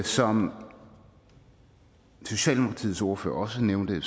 som socialdemokratiets ordfører også nævnte